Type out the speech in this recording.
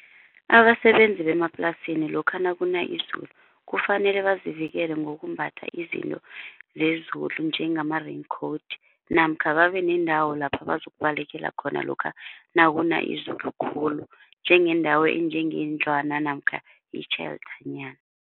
Abasebenzi bemaplasini lokha nakuna izulu kufanele bazivikele ngokumbatha izinto zezulu njengama-raincoat namkha babe nendawo lapha bazokubalekela khona lokha nakuna izulu khulu, njengendawo enjengendlwana namkha itjhelthanyana.